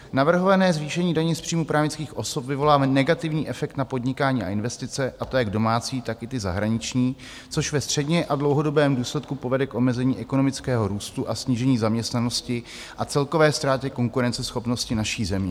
Navrhované zvýšení daně z příjmu právnických osob vyvolá negativní efekt na podnikání a investice, a to jak domácí, tak i ty zahraniční, což ve středně a dlouhodobém důsledku povede k omezení ekonomického růstu a snížení zaměstnanosti a celkové ztráty konkurenceschopnosti naší země.